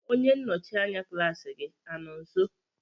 onye nnọchi anya klaasị gị anọ nso?